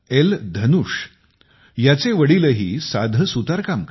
धनुषचे वडीलही साधे सुतारकाम करतात